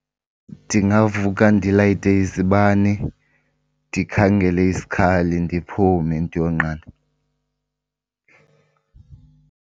Ndingavuka ndilayite izibane ndikhangele isikhali ndiphume ndiyonqanda.